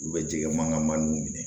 U bɛ jɛgɛ mankan man minɛ